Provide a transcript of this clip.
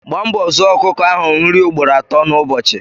Gba mbọ zụoọ ọkụkọ ahụ nri ugboro ato n' ụbọchị